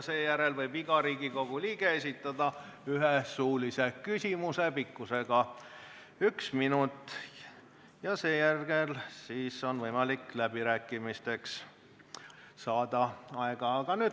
Seejärel võib iga Riigikogu liige esitada ühe suulise küsimuse, mille pikkus on 1 minut, ning siis on võimalik saada aega läbirääkimisteks.